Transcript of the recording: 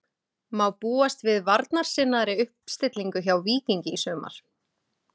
Má búast við varnarsinnaðri uppstillingu hjá Víkingi í sumar?